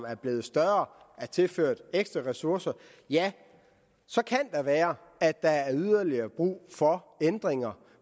er blevet større er tilført ekstra ressourcer så kan det være at der er yderligere brug for ændringer